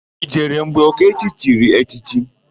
I jere mgbe Okechi chiri echichi?